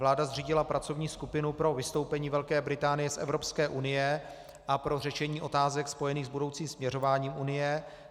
Vláda zřídila pracovní skupinu pro vystoupení Velké Británie z Evropské unie a pro řešení otázek spojených s budoucím směřováním Unie.